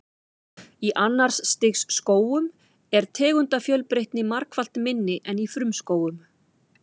Í annars stigs skógum er tegundafjölbreytni margfalt minni en í frumskógum.